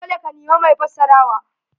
Dole ka nemi mai fassarawa.